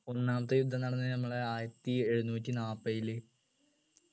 ഒന്നാമത്തെ യുദ്ധം നടന്നത് നമ്മളെ ആയിരത്തി എഴുനൂറ്റി നാപ്പയില്